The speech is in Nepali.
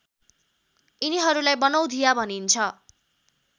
यिनीहरूलाई बनौधिया भनिन्छ